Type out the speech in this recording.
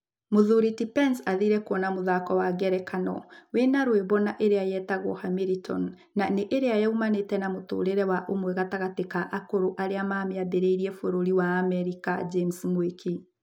Mũthuri ti Pence athire kuona mũthako wa ngerekano wĩna rwĩmbo na ĩrĩa yetagwo Hamilton, na ĩria yumanĩte na mũtũrĩre wa ũmwe gatagatĩ ka akũrũ arĩa mamĩmbĩrĩirie bũrũri wa Amerika , James Mwiki